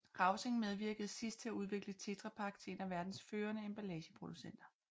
Rausing medvirkede siden til at udvikle TetraPak til en af verdens førende emballageproducenter